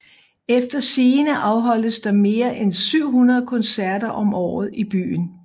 Efter sigende afholdes der mere end 700 koncerter om året i byen